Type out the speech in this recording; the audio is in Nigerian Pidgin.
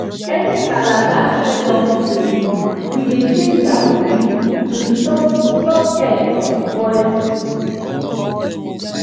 any calabash wey don break we dey change am quick to stop stop air from spoil seed